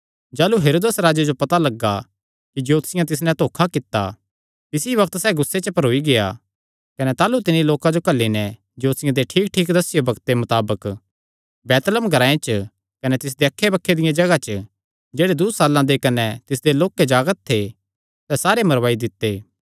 जाह़लू हेरोदेस राजे जो पता लग्गा कि ज्योतिषियां तिस नैं धोखा कित्ता तिसी बग्त सैह़ गुस्से च भरोई गेआ कने ताह़लू तिन्नी लोकां जो घल्ली नैं ज्योतिषियां दे ठीकठीक दस्सेयो बग्ते मताबक बैतलहम ग्रांऐ च कने तिसदे अक्खैबक्खे दियां जगांह च जेह्ड़े दूँ साल्लां दे कने तिसते लोक्के जागत थे सैह़ सारे मरवाई दित्ते